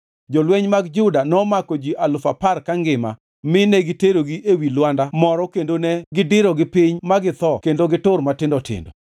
Jolweny mag Juda nomako ji alufu apar kangima mi negiterogi ewi lwanda moro kendo negidirogi piny ma githo kendo gitur matindo tindo.